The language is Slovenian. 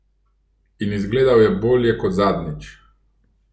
In izgledal je bolje kot zadnjič.